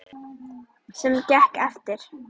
Sem gekk eftir.